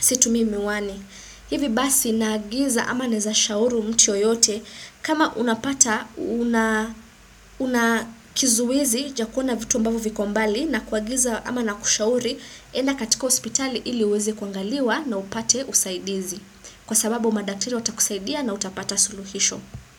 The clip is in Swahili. situmii miwani. Hivi basi naagiza ama naweza shauri mtu yoyote kama unapata unakizuizi cha kuona vitu ambavyo viko mbali na kuagiza ama nakushauri enda katika hospitali ili uweze kuangaliwa na upate usaidizi. Kwa sababu madakteri watakusaidia na utapata suluhisho.